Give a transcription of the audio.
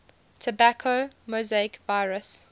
tobacco mosaic virus